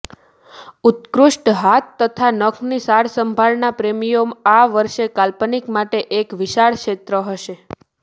ઉત્કૃષ્ટ હાથ તથા નખની સાજસંભાળ ના પ્રેમીઓ આ વર્ષે કાલ્પનિક માટે એક વિશાળ ક્ષેત્ર હશે